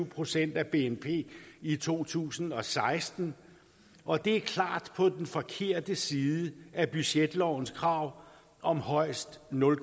procent af bnp i to tusind og seksten og det er klart på den forkerte side af budgetlovens krav om højst nul